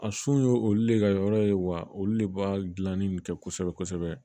A sun ye olu le ka yɔrɔ ye wa olu de b'a gilanni nin kɛ kosɛbɛ kosɛbɛ